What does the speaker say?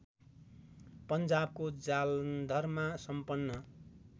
पन्जाबको जालन्धरमा सम्पन्न